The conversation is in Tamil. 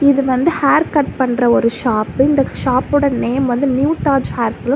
இது வந்து ஹேர் கட் பண்ற ஒரு ஷாப் இந்த ஷாப்போட நேம் வந்து நியூ தாஜ் ஹேர் சலூன் .